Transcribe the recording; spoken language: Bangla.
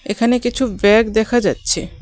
এখানে কিছু ব্যাগ দেখা যাচ্ছে.